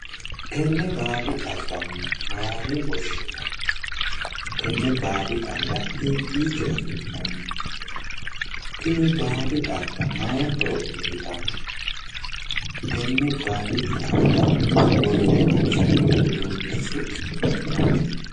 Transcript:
Tenne baadi xagga mayine woshshinayi? tenne baadi xaagga hiikkiicho afi'nanni tini baadi xagga mayi horo uyitanno? tenne baadi xagga worre horonsi'noonni uduunnichi su'mi maati?